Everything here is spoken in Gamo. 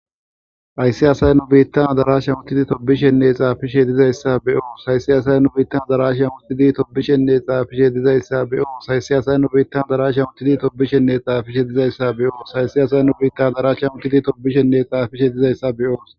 Hayssi asay nu biitan adarashan uttidinne tobbishenne xaafishe dizaysa be'oos. Hayssi asay nu biitan adarashan uttidinne tobbishenne xaafishe dizaysa be'oos. Hayssi asay nu biitan adarashan uttidinne tobbishenne xaafishe dizaysa be'oos. Hayssi asay nu biitan adarashan uttidinne tobbishenne xaafishe dizaysa be'oos.